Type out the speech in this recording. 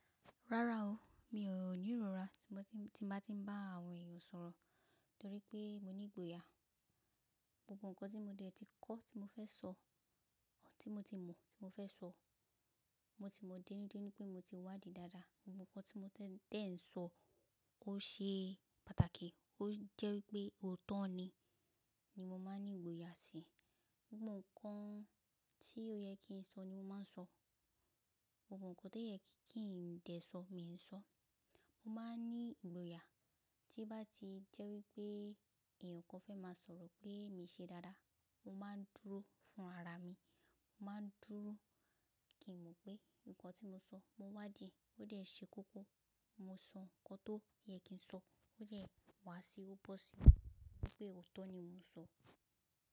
Rárá o, mi ò ní irọra tí n bá tí ń bá àwọn èèyàn sọ̀rọ̀ torí pé mo ní ìgboyà. Gbogbo ǹkan tí mo dẹ̀ ti kọ́ tí mo fẹ́ sọ, tí mo ti mọ̀ tí mo fẹ́ sọ, mo ti mọ̀ dénudénu pé mo ti wádìí dáadáa, gbogbo ǹkan tí mo tẹ́ ń sọ ó ṣe pàtàkì ó jẹ́ wípé òótọ́ ni, ni mo máa ń ní ìgboyà síi. Gbogbo ǹkan tí ó yẹ kí n sọ ni mo máa ń sọ, gbogbo ǹkan tó yẹ kí ǹ dé sọ, mi ò ń sọ. Mo máa ń ní ìgboyà tí o bá ti jẹ́ wípé èèyàn kan fẹ́ máa sọ̀rọ̀ pé mii ṣe dáadáa, mó máa ń dúró fún ara mi, mó máa ń dúró kí n mọ̀ pé ǹkan tí mo sọ mo wádìí, ó dẹ̀ ṣe kókó. Mo sọ ǹkan tó yẹ kí n sọ, ó dẹ wá sí i, ó bọ́ sí i wípé òótọ́ ni mo ń sọ.